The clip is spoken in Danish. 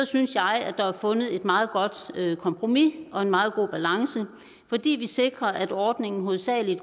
synes jeg at der er fundet et meget godt kompromis og en meget god balance fordi vi sikrer at ordningen hovedsagelig